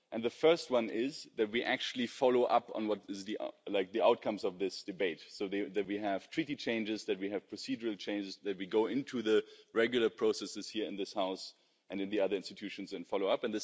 The first one is that we actually follow up on the outcomes of this debate, so that we have Treaty changes, so that we have procedural changes, so that we go into the regular processes here in this House, and in the other institutions and follow up.